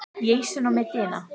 Flauel er komið aftur.